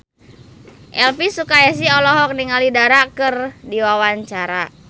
Elvy Sukaesih olohok ningali Dara keur diwawancara